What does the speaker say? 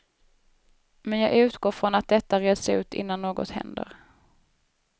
Men jag utgår från att detta reds ut innan något händer.